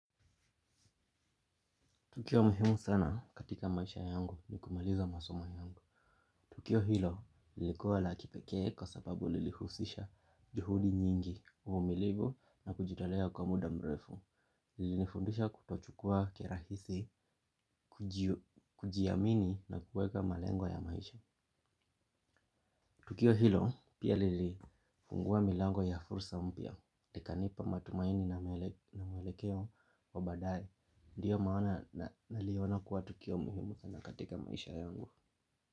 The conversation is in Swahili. Tukio muhimu sana katika maisha yangu ni kumaliza masomo yangu. Tukio hilo lilikuwa lakipekee kwa sababu lilihusisha juhudi nyingi uvumilivu na kujitolea kwa muda mrefu. Lili nifundisha kutochukua kirahisi, kujiamini na kueka malengo ya maisha. Tukio hilo pia lili fungua milango ya fursa mpya ika nipa matumaini na mwelekeo wa badae. Ndiyo maana na liona kuwa tukio muhimu sana katika maisha yangu.